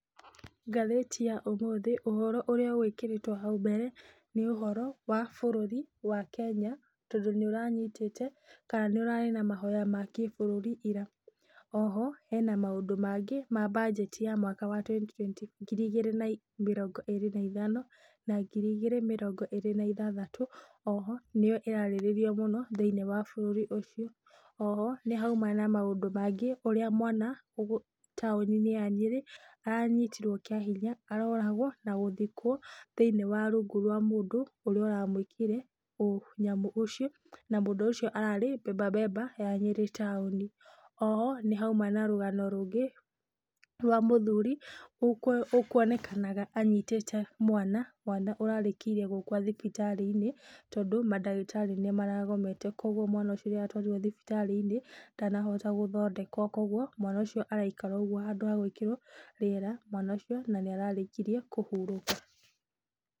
Ngathĩti ya ũmũthĩ, ũhoro ũrĩa ũgwĩkĩrĩtwo hau mbere, nĩ ũhoro wa bũrũri wa Kenya tondũ nĩũranyitĩte, ka nĩũrarĩ na mahoya ma kĩbũrũri ira, oho hena maũndũ mangĩ ma budget ya mwaka wa twenty ngiri igĩrĩ na mĩrongo ĩrĩ na ithano na ngiri igĩrĩ na mĩrongo ĩrĩ na ĩthathatũ, oho nĩyo ĩrarĩrĩrio mũno thĩinĩ wa bũrũri ũcio, oho nĩhauma na maũndũ mangĩ, ũrĩa mwana taũni-inĩ ya Nyĩrĩ, aranyitirwo kĩa hinya, aroragwo, na gũthikwo thĩini wa rungu rwa mũndũ, ũrĩa ũramwĩkire ũnyamũ ũcio, na mũndũ ũcio ararĩ beba beba ya nyĩrĩ taũni, oho, nĩhauma na rũgano rũngĩ, rwa mũthuri ũũkuonekaga anyitĩte mwana, mwana ũrarĩkĩirie gũkua thibitarĩ-inĩ, tondũ mandagĩtarĩ nĩmaragomete, koguo mwana ũcio nĩaratwarirwo thibitarĩ-inĩ, ndanahota gũthondekwo, koguo, mwana ũcio araikara oũguo handũ ha gũĩkĩrwo rĩera, mwana ũcio, na nĩararĩkirie kũhurũka.